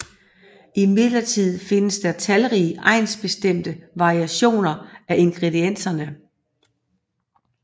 Imidlertid findes der talrige egnsbestemte variationer af ingredienserne